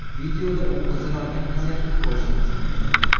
Videoda u qizil olgan vaziyatni ko‘rishingiz mumkin.